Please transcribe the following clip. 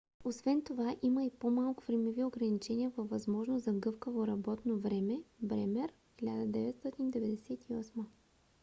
освен това има по - малко времеви ограничения с възможност за гъвкаво работно време. bremer 1998